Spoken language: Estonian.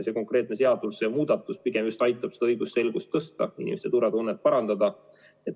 See konkreetne seadusemuudatus pigem just aitab õigusselgust suurendada, inimeste turvatunnet parandada.